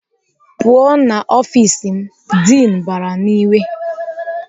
"Pụọ n'ọfis m!" Diin bara n'iwe.